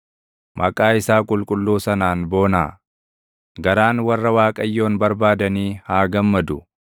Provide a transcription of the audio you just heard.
Maqaa isaa qulqulluu sanaan boonaa; garaan warra Waaqayyoon barbaadanii haa gammadu.